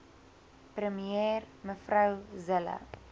premier mev zille